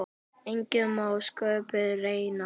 Enginn má sköpum renna.